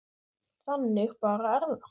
Þannig bara er það.